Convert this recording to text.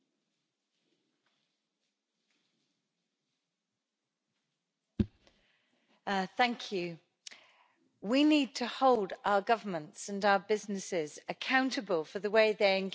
Mr President, we need to hold our governments and our businesses accountable for the way they engage with other countries, especially when it comes to preserving natural resources.